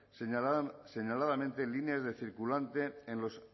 señaladamente líneas de circulante en los